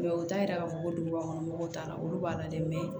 u t'a yira k'a fɔ ko dugubakɔnɔ mɔgɔw t'a la olu b'a la dɛ